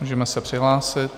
Můžeme se přihlásit.